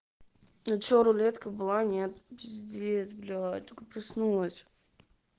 ну че рулетка была нет пиздец блять только проснулась